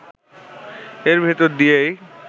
এর ভেতর দিয়েই